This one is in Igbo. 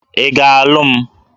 Ị ga-alụ m?